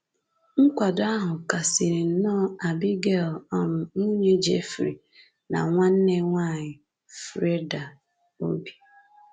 Nkwado ahụ kasiri nnọọ Abigail — um nwunye Jeffrey na nwanne nwanyị Frieda — obi.